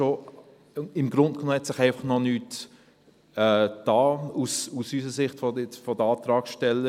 Im Grunde genommen hat sich einfach noch nichts getan aus unserer Sicht, aus der Sicht der Antragsteller.